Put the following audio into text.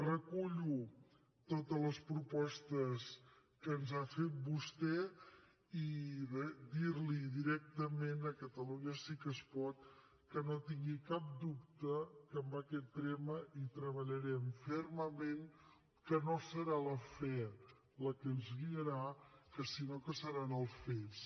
recullo totes les propostes que ens ha fet vostè i re dir li directament a catalunya sí que es pot que no tingui cap dubte que en aquest tema hi treballarem fermament que no serà la fe la que ens guiarà sinó que seran els fets